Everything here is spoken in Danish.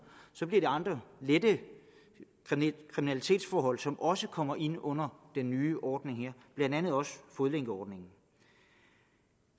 så bliver andre lette kriminalitetsforhold som også kommer ind under den nye ordning her blandt andet fodlænkeordningen